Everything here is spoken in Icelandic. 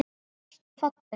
Svört og falleg.